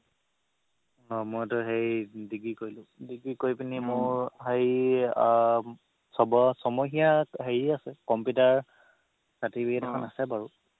অ' মইতো হেৰি degree কৰিলো degree কৰি পিনি মোৰ হেৰি আহ ছমহীয়া হেৰি আছে কম্পিউটাৰ certificate এখন আছে বাৰু